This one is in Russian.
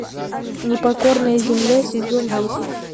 непокорная земля сезон десять